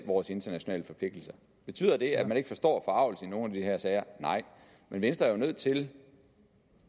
vores internationale forpligtelser betyder det at man ikke forstår forargelsen i nogle af de her sager nej men venstre er jo nødt til